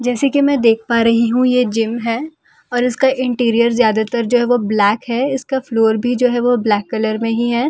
जैसे की मैं देख पा रही हूँ ये जिम है और इसका इंटीरियर ज़्यादातर जो है वो ब्लैक है और इसका फ्लोर भी जो है वो ब्लैक कलर में ही है।